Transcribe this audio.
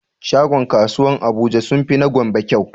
Shagon kasuwan abuja sunfi na gombe kyau